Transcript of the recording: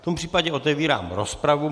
V tom případě otevírám rozpravu.